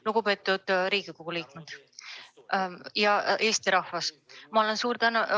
Lugupeetud Riigikogu liikmed ja Eesti rahvas!